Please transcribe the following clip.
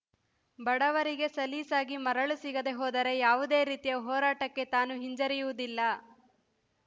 ಬಡವರಿಗೆ ಸಲೀಸಾಗಿ ಮರಳು ಸಿಗದೇ ಹೋದರೆ ಯಾವುದೇ ರೀತಿಯ ಹೋರಾಟಕ್ಕೆ ತಾನು ಹಿಂಜರಿಯುವುದಿಲ್ಲ